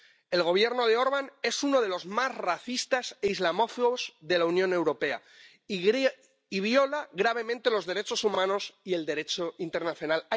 El Gobierno de Orbán es uno de los más racistas e islamófobos de la Unión Europea y viola gravemente los derechos humanos y el Derecho internacional.